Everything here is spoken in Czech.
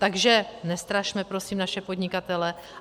Takže nestrašme prosím naše podnikatele.